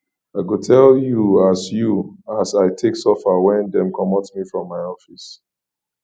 i go tell you as you as i take suffer wen dem comot me from my office